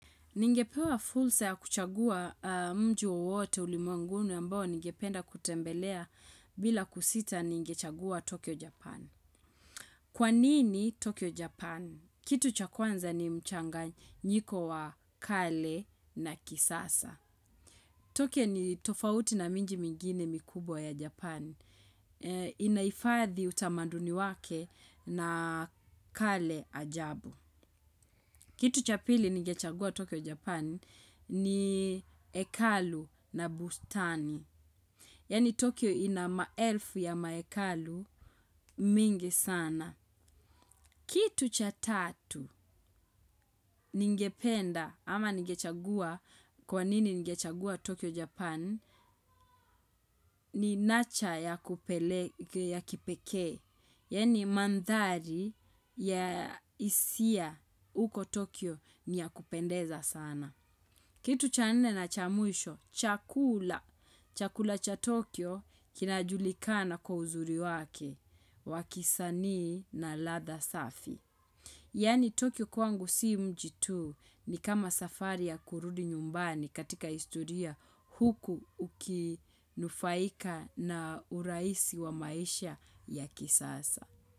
Ningepewa fursa ya kuchagua mji wowote ulimwenguni ambao ningependa kutembelea. Bila kusita ningechagua Tokyo Japan. Kwanini Tokyo Japan? Kitu cha kwanza ni mchanganyiko wa kale na kisasa. Tokyo ni tofauti na miji mingine mikubwa ya Japan. Inahifadhi utamaduni wake na kale ajabu. Kitu cha pili nigechagua Tokyo Japan ni hekalu na bustani. Yani Tokyo ina maelfu ya mahekalu mingi sana. Kitu cha tatu nigependa ama nigechagua kwa nini ningechagua Tokyo Japan ni nacha ya kipekee. Yani mandhari ya hisia uko Tokyo niyakupendeza sana. Kitu cha nne na cha mwisho, chakula. Chakula cha Tokyo kinajulikana kwa uzuri wake, wakisanii na ladha safi. Yani Tokyo kwangu si mji tu ni kama safari ya kurudi nyumbani katika historia, huku ukinufaika na urahisi wa maisha ya kisasa.